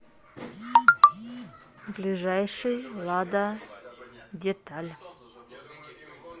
ближайший лададеталь